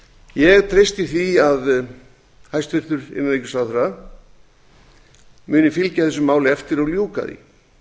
ég treysti því að hæstvirtur innanríkisráðherra muni fylgja þessu máli eftir og ljúka því